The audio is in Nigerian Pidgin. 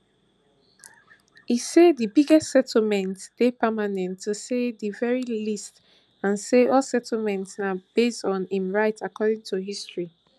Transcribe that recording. e say di biggest settlements dey permanent to say di very least and say all settlements na base on im right according to history